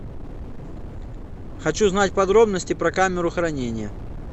хочу знать подробности про камеру хранения